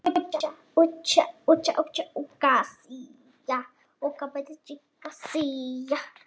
Því fleiri bylgjulengdir ljóss sem falla á linsu eða spegil sjónaukans, því betri er upplausnin.